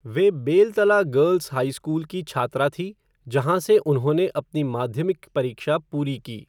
वे Beltala girls high school की छात्रा थी जहाँ से उन्होंने अपनी माध्यमिक परीक्षा पूरी की।